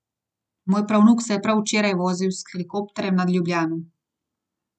Moj pravnuk se je prav včeraj vozil s helikopterjem nad Ljubljano.